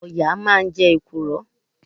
Ọ̀yà máa ń jẹ èkùrọ́.